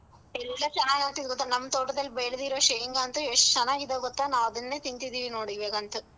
ಎಲ್ಲಾ ಚೆನ್ನಾಗಾಗ್ತವ್ ಗೊತ್ತಾ, ನಮ್ ತೋಟದಲ್ಲಿ ಬೆಳ್ದಿರೋ ಶೇಂಗಾ ಅಂತೂ ಎಷ್ಟು ಚೆನ್ನಾಗಿದೇ ಗೊತ್ತಾ ನಾವ್ ಅದನ್ನೇ ತಿಂತಿದೀವಿ ನೋಡ್ ಇವಾಗಂತೂ.